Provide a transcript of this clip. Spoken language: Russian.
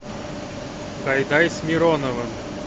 гайдай с мироновым